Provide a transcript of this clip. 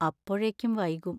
അപ്പോഴേക്കും വൈകും.